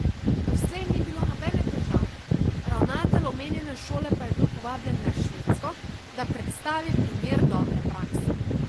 Doslej ni bilo nobene težave, ravnatelj omenjene šole pa je bil povabljen na Švedsko, da predstavi primer dobre prakse.